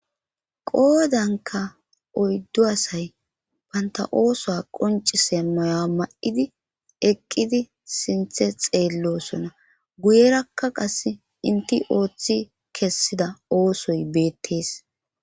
qoodanka oyddu asay banta oosoa qoncise moya ma7idi eqqidi sinthe xeellosona guyerakka qas inti ooththi kessida oosoy beettees